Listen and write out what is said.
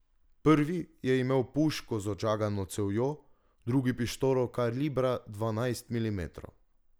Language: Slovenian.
Prvi je imel puško z odžagano cevjo, drugi pištolo kalibra dvanajst milimetrov.